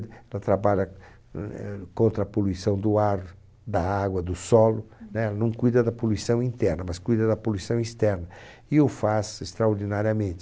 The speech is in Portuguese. Ela trabalha, hum, eh, contra a poluição do ar, da água, do solo, né? Ela não cuida da poluição interna, mas cuida da poluição externa e o faz extraordinariamente.